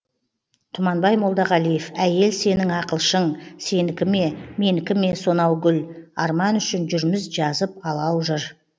тұманбай молдағалиев әйел сенің ақылшың сенікі ме менікі ме сонау гүл арман үшін жүрміз жазып алау жыр